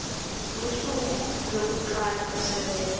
lusuku lwekucala kusebenta